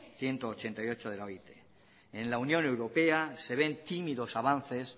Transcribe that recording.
ciento ochenta y ocho de la oit en la unión europea se ven tímidos avances